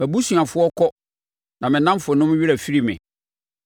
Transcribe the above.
Mʼabusuafoɔ kɔ; na me nnamfonom werɛ afiri me.